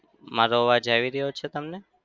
મારો અવાજ આવી રહ્યો છે તમને?